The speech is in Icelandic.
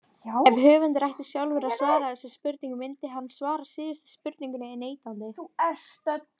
Ef höfundur ætti sjálfur að svara þessum spurningum myndi hann svara síðustu spurningunni neitandi.